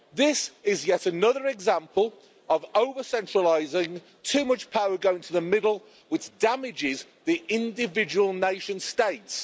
This is yet another example of over-centralising, too much power going to the middle, which damages the individual nation states.